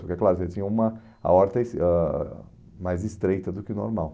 Porque, é claro, você tinha uma aorta es ãh mais estreita do que normal.